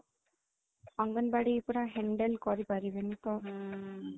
ଅଙ୍ଗନବାଡି ପୁରା handle କରିପାରିବେନି ତ ହୁଁ